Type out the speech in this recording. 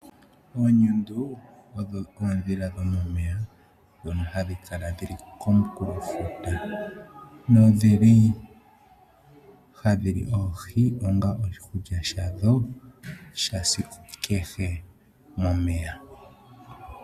Oonyundu odho oondhila dhomomeya ndhono hadhi kala dhi li komukulofuta, nodhi li hadhi li oohi onga oshikulya shadho shesiku kehe momeya.